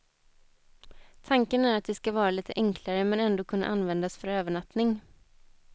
Tanken är att de skall vara lite enklare men ändå kunna användas för övernattning.